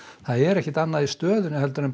það er ekkert annað í stöðunni en